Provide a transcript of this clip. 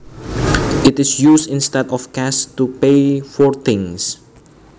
It is used instead of cash to pay for things